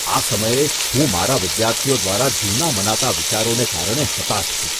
આ સમયે, હું મારા વિદ્યાર્થીઓ દ્વારા જૂના મનાતા વિચારોને કારણે હતાશ છું.